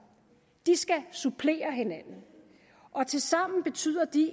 de skal supplere hinanden tilsammen betyder de